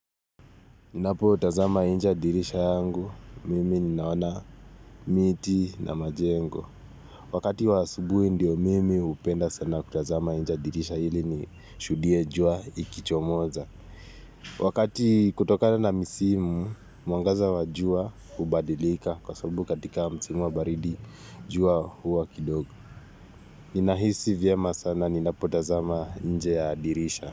Ninapotazama nje ya dirisha yangu, mimi ninaona miti na majengo. Wakati wa asubuhi ndio mimi hupenda sana kutazama nje ya dirisha ili ni shuhudie jua ikichomoza. Wakati kutokana na misimu, mwangaza wa jua hubadilika kwa sababu katika msimu wa baridi jua huwa kidogo. Ninahisi vyema sana, ninapotazama nje ya dirisha.